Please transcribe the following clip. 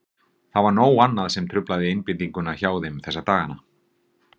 Það var nóg annað sem truflaði einbeitinguna hjá þeim þessa dagana.